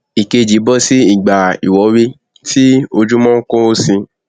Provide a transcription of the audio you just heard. ìkejì bọsí ìgbà ìwọwé tí ojúmọ nkuru síi